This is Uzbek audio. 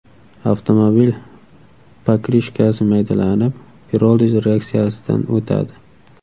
Avtomobil pokrishkasi Maydalanib, piroliz reaksiyasidan o‘tadi.